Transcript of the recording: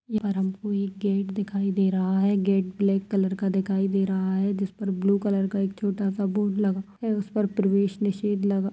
ये पर हम को एक गेट दिखाई दे रहा है गेट ब्लेक कलर का दिखाई दे रहा है उस पर ब्लू कलर का एक छोटा सा बोर्ड लगा हुआ है उस पर प्रवेश निषेध लगा --